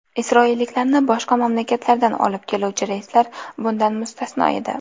Isroilliklarni boshqa mamlakatdan olib keluvchi reyslar bundan mustasno edi.